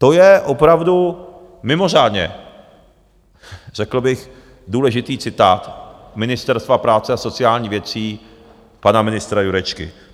To je opravdu mimořádně řekl bych důležitý citát Ministerstva práce a sociálních věcí pana ministra Jurečky.